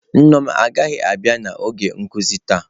Nneoma agaghị abịa n'oge nkuzi taa.